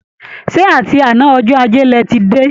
Ṣé àti àná ọjọ́ ajé lẹ ti dé?